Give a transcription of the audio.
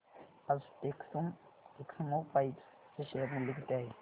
आज टेक्स्मोपाइप्स चे शेअर मूल्य किती आहे